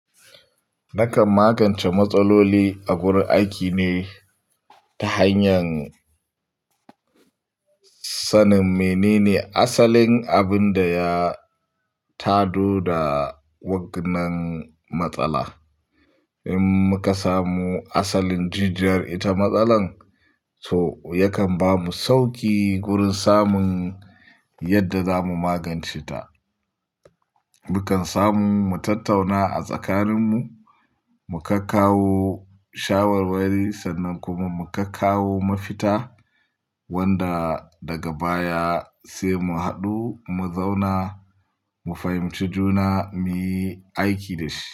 Nakan magance matsaloli a gurin aiki ne ta hanyar sanin menene asalin abin da ya tado da wannan matsala. In muka samu asalin jijjiyar ita matsalar, so yakan bamu sauki gurin samun yadda zamu magance ta. Mukan samu mu tattauna a tsakaninmu, mu kakkawo shawarwari sannan kuma mu kakkawo mafita wanda daga baya sai mu haɗu, mu zauna mu fahimci juna muyi aiki da shi.